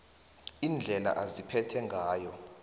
indlela aziphethe ngayo